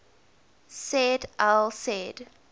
said al said